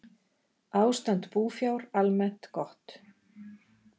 Ástand búfjár almennt gott